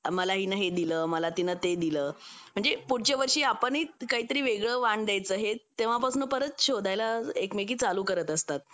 मला हिंनी हे दिल मला तिने ते दिलं म्हणजे पुढच्या वर्षी आपणही वेगळं वाण द्यायचे हे तेव्हापासून परत शोधायला एकमेकींसाठी चालू करत असतात